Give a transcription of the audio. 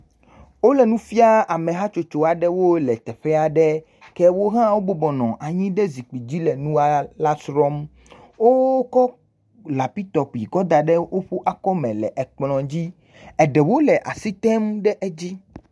Wole nu fiaa ame hatsotso aɖewo le teƒe aɖe, ke wo hã wobɔbɔ nɔ anyi ɖe zikpui dzi le nu la srɔ̃m. Wokɔ lapitɔpi kɔ da ɖe woƒe akɔme le ekplɔ, eɖewo le asi tem ɖe edzi.